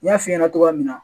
N y'a f'i ɲɛna togoya min na.